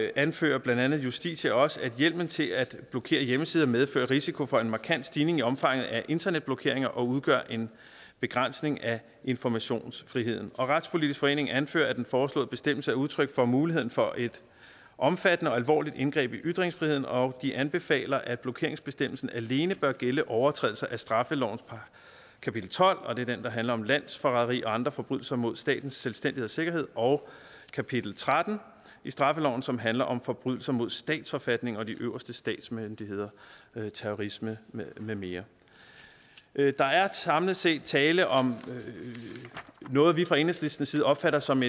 anfører blandt andet justitia også at hjemmelen til at blokere hjemmesider medfører risiko for en markant stigning i omfanget af internetblokeringer og udgør en begrænsning af informationsfriheden og retspolitisk forening anfører at den foreslåede bestemmelse er udtryk for muligheden for et omfattende og alvorligt indgreb i ytringsfriheden og de anbefaler at blokeringsbestemmelsen alene bør gælde overtrædelser af straffelovens kapitel tolv det er den der handler om landsforræderi og andre forbrydelser mod statens selvstændighed og sikkerhed og kapitel tretten i straffeloven som handler om forbrydelser mod statsforfatningen og de øverste statsmyndigheder terrorisme med med mere der er samlet set tale om noget vi fra enhedslistens side opfatter som